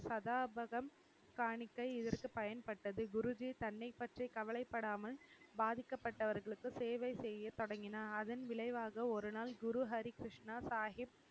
சதாபகம் காணிக்கை இதற்கு பயன்பட்டது குருஜி தன்னை பற்றி கவலைபடாமல் பாதிக்கப்பட்டவர்களுக்கு சேவை செய்ய தொடங்கினார் அதன் விளைவாக ஒரு நாள் குருஹரி கிருஷ்ணா சாஹிப்